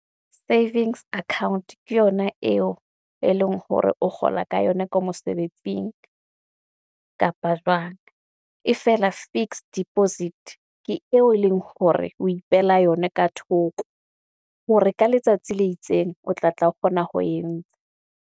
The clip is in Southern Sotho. Savings account ke yona eo e leng hore o kgola ka yona ko mosebetsing, kapa jwang. E fela fixed deposit ke eo e leng hore o ipehela yona ka thoko, hore ka letsatsi le itseng o tla tla kgona ho entsha.